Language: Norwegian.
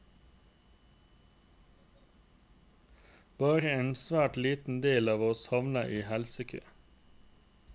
Bare en svært liten del av oss havner i helsekø.